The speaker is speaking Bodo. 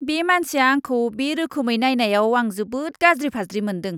बे मानसिया आंखौ बे रोखोमै नायनायाव आं जोबोद गाज्रि फाज्रि मोनदों।